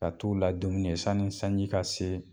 Ka t' u la dumuni sanni sanji ka se